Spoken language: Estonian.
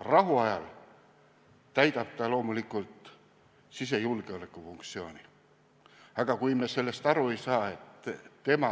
Rahuajal täidab ta loomulikult sisejulgeoleku funktsiooni, aga kui me sellest aru ei saa, et tema